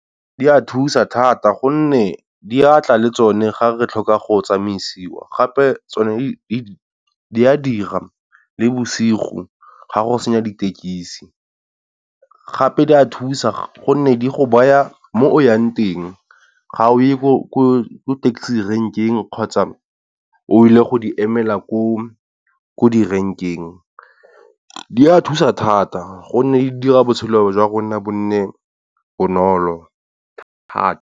Di a thusa thata gonne di a tla le tsone ga re tlhoka go tsamaisiwa gape tsone di a dira le bosigo, ga go sena ditekisi gape di a thusa gonne di go baya mo o yang teng ga o ye ko taxi rank-eng, kgotsa o ile go di emela ko di-rank-eng. Di a thusa thata gonne di dira botshelo jwa rona bo nne bonolo thata.